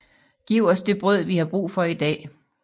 Giv os det brød vi har brug for i dag